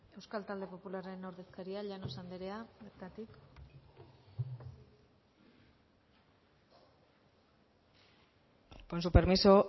euskal talde popularraren ordezkaria llanos andrea bertatik con su permiso